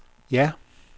ja